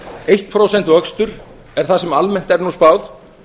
eitt prósent vöxtur er það sem almennt er nú spáð